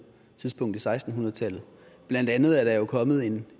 tidspunkt i seksten hundrede tallet blandt andet er der jo kommet en